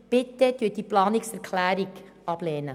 Bitte lehnen Sie die Planungserklärung ab.